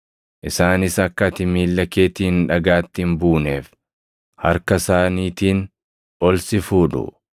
isaanis akka ati miilla keetiin dhagaatti hin buuneef, harka isaaniitiin ol si fuudhu.’ + 4:11 \+xt Far 91:1,12\+xt*”